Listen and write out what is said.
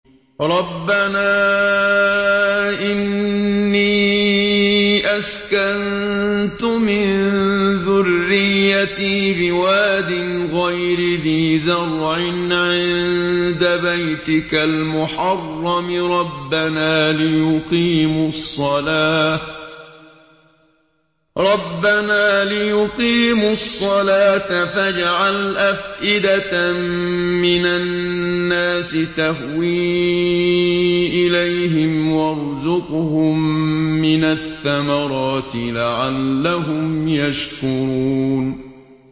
رَّبَّنَا إِنِّي أَسْكَنتُ مِن ذُرِّيَّتِي بِوَادٍ غَيْرِ ذِي زَرْعٍ عِندَ بَيْتِكَ الْمُحَرَّمِ رَبَّنَا لِيُقِيمُوا الصَّلَاةَ فَاجْعَلْ أَفْئِدَةً مِّنَ النَّاسِ تَهْوِي إِلَيْهِمْ وَارْزُقْهُم مِّنَ الثَّمَرَاتِ لَعَلَّهُمْ يَشْكُرُونَ